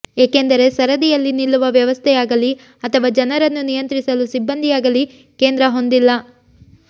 ಏಕೆಂದರೆ ಸರದಿಯಲ್ಲಿ ನಿಲ್ಲುವ ವ್ಯವಸ್ಥೆಯಾಗಲಿ ಅಥವಾ ಜನರನ್ನು ನಿಯಂತ್ರಿಸಲು ಸಿಬ್ಬಂದಿಯಾಗಲಿ ಕೇಂದ್ರ ಹೊಂದಿಲ್ಲ